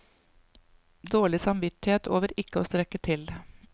Dårlig samvittighet over ikke å strekke til.